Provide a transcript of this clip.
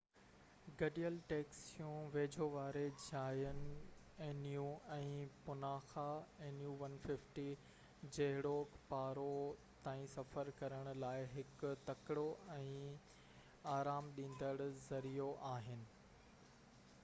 گڏيل ٽيڪسيون ويجهو واري جاين جهڙوڪ پارو nu 150 ۽ پُناخا nu 200 تائين سفر ڪرڻ لاءِ هڪ تڪڙو ۽ آرام ڏيندڙ ذريعو آهن